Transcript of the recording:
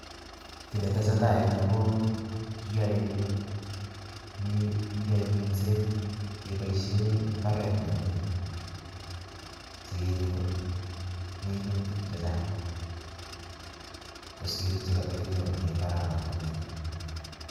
Kit netesetai en yuh ko kiyoe minset, keboishien mbaret nemingin sikenyor minutik chechang kosiir chekotokinyorunen imbaaranoton nii